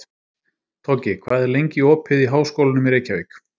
Toggi, hvað er lengi opið í Háskólanum í Reykjavík?